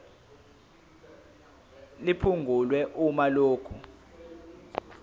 liphungulwe uma lokhu